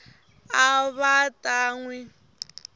a va ta n wi